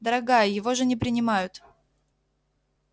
дорогая его же не принимают